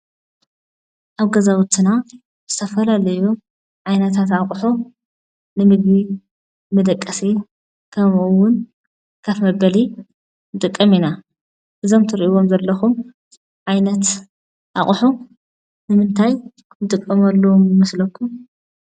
ኣብ ገዛውትና ዝተፈላለዩ ዓይነታት ኣቁሑ ንምግቢ መደቀሲ ከመኡ እውን ኮፍ መበሊ ንጥቀም ኢና:: እዞም ትሪኢዎም ዘለኩም ዓይነት ኣቁሑ ንምንታይ ንጥቀመሎም ይመስለኩም?